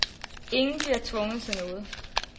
Ingen bliver tvunget til noget.